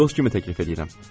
Sizə dost kimi təklif eləyirəm.